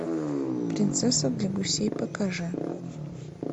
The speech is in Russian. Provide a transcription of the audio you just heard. принцесса для гусей покажи